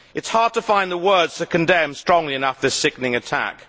It is hard to find the words to condemn strongly enough this sickening attack.